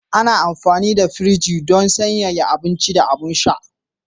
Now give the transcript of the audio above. Ana amfani da firji don sanyaya abinci da abin sha.